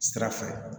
Sira fɛ